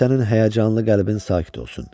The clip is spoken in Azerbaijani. Qoy sənin həyəcanlı qəlbin sakit olsun.